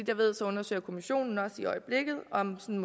jeg ved undersøger kommissionen også i øjeblikket om en